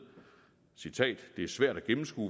det er svært at gennemskue